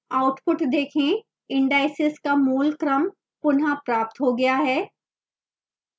output देखें indices का मूल क्रम पुनः प्राप्त हो गया है